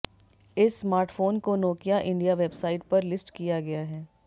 इस स्मार्टफोन को Nokia India website पर लिस्ट किया गया है